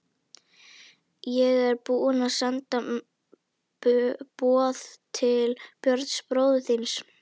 Ég er búinn að senda boð til Björns bróður þíns.